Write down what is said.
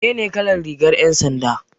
Menene kalar rigar 'yan sanda?